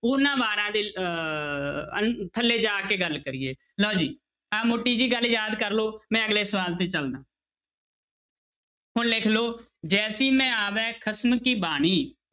ਉਹਨਾਂ ਵਾਰਾਂ ਦੇ ਅਹ ਅਨ~ ਥੱਲੇ ਜਾ ਕੇ ਗੱਲ ਕਰੀਏ, ਲਓ ਜੀ ਆਹ ਮੋਟੀ ਜਿਹੀ ਗੱਲ ਯਾਦ ਕਰ ਲਓ ਮੈਂ ਅਗਲੇ ਸਵਾਲ ਤੇ ਚੱਲਦਾ ਹੁਣ ਲਿਖ ਲਓ ਜੈਸੀ ਮੈ ਆਵੈ ਖਸਮ ਕੀ ਬਾਣੀ